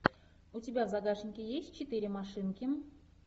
у тебя в загажнике есть четыре машинки